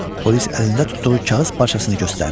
Polis əlində tutduğu kağız parçasını göstərdi.